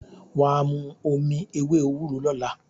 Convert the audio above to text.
Wà á mu omi ewé ewúro lọ́la.